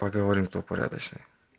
поговорим кто порядочный